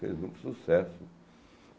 Fez muito sucesso.